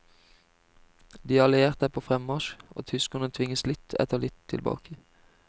De allierte er på fremmarsj og tyskerne tvinges litt etter litt tilbake.